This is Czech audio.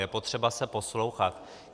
Je potřeba se poslouchat.